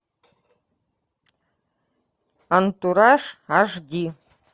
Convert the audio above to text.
антураж аш ди